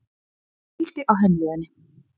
Og pældi á heimleiðinni.